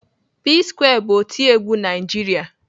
P-square bụ otiegwu Naijiria.